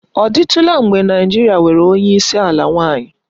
Ọ dịtụla mgbe Naịjirịa nwere onye isi ala nwanyị?